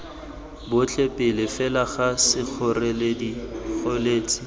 botlhe pele fela ga sekgoreletsi